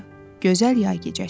Gözəl yay gecəsi idi.